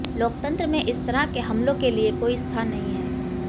लोकतंत्र में इस तरह के हमलों के लिए कोई स्थान नहीं है